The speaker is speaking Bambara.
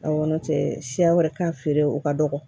Aw nɔn tɛ siya wɛrɛ k'a feere o ka dɔgɔ